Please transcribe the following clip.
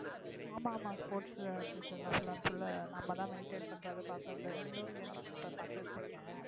ஆமா ஆமா sports teacher தான் full and full நம்ம தான் maintain பண்றது பாக்குறது indoor games இப்போ பாத்துட்டு இருக்கேன்.